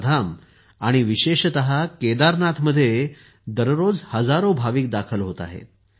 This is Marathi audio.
चारधाम आणि विशेषतः केदारनाथमध्ये दररोज हजारो भाविक दाखल होत आहेत